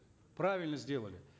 правильно сделали